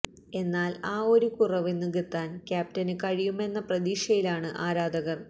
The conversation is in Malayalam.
എന്നാല് ആ ഒരു കുറവ് നികത്താന് ക്യാപ്റ്റന് കഴിയുമെന്ന പ്രതീക്ഷയിലാണ് ആരാധകര്